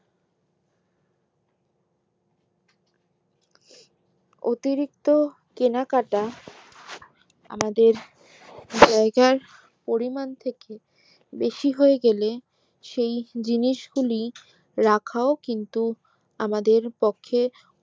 অতিরিক্ত কেনাকাটা আমাদের জায়গার পরিমান থেকে বেশি হয়ে গেলে সেই জিনিস গুলি রাখাও কিন্তু আমাদের পক্ষে